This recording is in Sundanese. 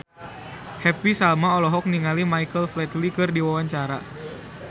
Happy Salma olohok ningali Michael Flatley keur diwawancara